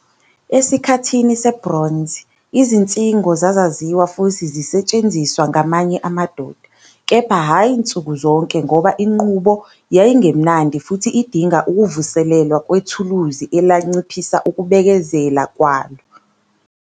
Esikhathini seBronze, izinsingo zazaziwa futhi zisetshenziswa ngamanye amadoda, kepha hhayi nsuku zonke ngoba inqubo yayingemnandi futhi idinga ukuvuselelwa kwethuluzi elanciphisa ukubekezela kwalo.